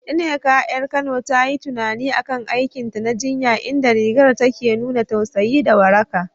Nneka, 'yar Kano, ta yi tunani a kan aikinta na jinya, inda rigar ta ke nuna tausayi da waraka.